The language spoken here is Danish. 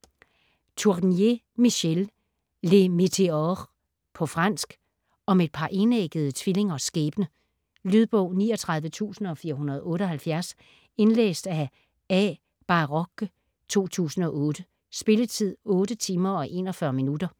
Tournier, Michel: Les météores På fransk. Om et par enæggede tvillingers skæbne. Lydbog 39478 Indlæst af A. Bairoch, 2008. Spilletid: 8 timer, 41 minutter.